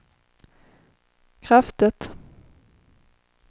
kraftigt